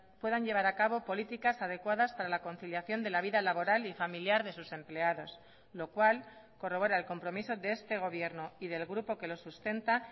puedan llevar a cabo políticas adecuadas para la conciliación de la vida laboral y familiar de sus empleados lo cual corrobora el compromiso de este gobierno y del grupo que lo sustenta